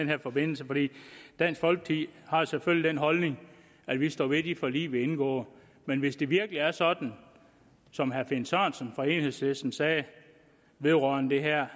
her forbindelse for dansk folkeparti har selvfølgelig den holdning at vi står ved de forlig vi indgår men hvis det virkelig er sådan som herre finn sørensen fra enhedslisten sagde vedrørende det her